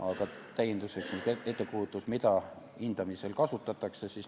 Aga täienduseks sellest, mida võib hindamisel kasutada.